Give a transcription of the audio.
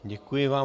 Děkuji vám.